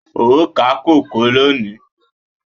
O ó ká kòkó lónìí.